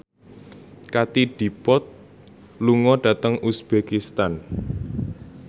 Katie Dippold lunga dhateng uzbekistan